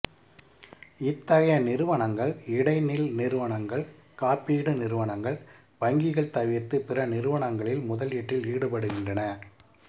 இத்தகைய நிறுவனங்கள் இடைநில் நிறுவனங்கள் காப்பீடு நிறுவனங்கள் வங்கிகள் தவிர்த்து பிற நிறுவனங்களில் முதலீட்டில் ஈடுபடுகின்றன